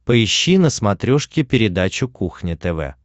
поищи на смотрешке передачу кухня тв